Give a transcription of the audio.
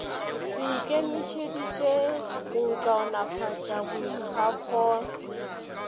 se ikemišeditše go kaonafatša boikgafo